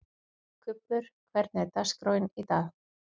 Kubbur, hvernig er dagskráin í dag?